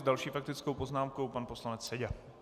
S další faktickou poznámkou pan poslanec Seďa.